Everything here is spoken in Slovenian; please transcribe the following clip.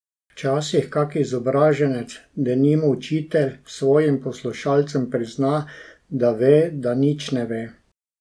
Včasih kak izobraženec, denimo učitelj, svojim poslušalcem prizna, da ve, da nič ne ve.